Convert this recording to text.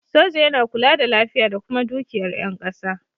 Soja yana kula da lafiya da kuma dukiyar yan ƙasa